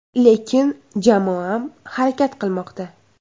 Lekin, jamoam harakat qilmoqda.